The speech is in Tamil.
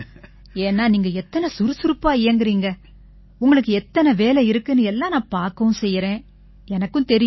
ஏன்னா நீங்க எத்தனை சுறுசுறுப்பா இயங்கறீங்க உங்களுக்கு எத்தனை வேலை இருக்குன்னு எல்லாம் நான் பார்க்கவும் செய்யறேன் எனக்கும் தெரியும்